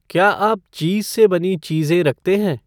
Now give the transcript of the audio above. क्या आप चीज़ से बनी चीज़ें रखते हैं?